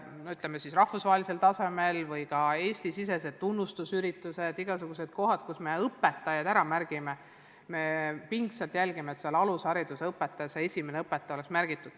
Ja olgu need siis rahvusvahelisel tasemel või Eesti-sisesed üritused – me pingsalt jälgime, et ka alushariduse õpetaja, see esimene õpetaja, oleks ära märgitud.